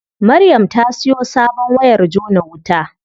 Maryam ta siyo sabon wayar jona wuta.